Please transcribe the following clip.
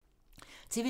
TV 2